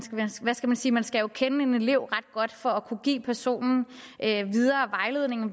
sige man skal jo kende en elev ret godt for at kunne give personen